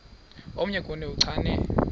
omnye kuni uchane